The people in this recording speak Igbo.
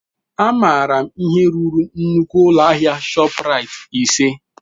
Amaara m ihe ruru nnukwu ụlọ ahịa ShopRite ise.